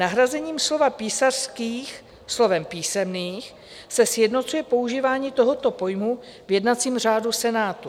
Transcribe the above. Nahrazením slova "písařských" slovem "písemných" se sjednocuje používání tohoto pojmu v jednacím řádu Senátu.